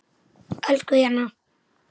Elsku Jenna.